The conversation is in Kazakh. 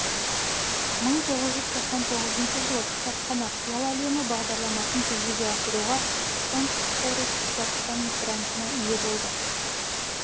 мың тоғыз жүз тоқсан тоғызыншы жылы кітапхана қиял әлемі бағдарламасын жүзеге асыруға фонд сорос казахстан грантына ие болды